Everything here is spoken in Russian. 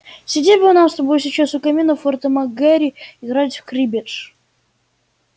сидеть бы нам с тобой сейчас у камина в форте мак гэрри играть в криббедж